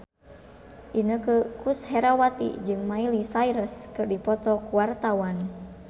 Inneke Koesherawati jeung Miley Cyrus keur dipoto ku wartawan